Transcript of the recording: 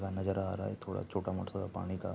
नजर आ रहा है थोड़ा छोटा-मोटा पानी का।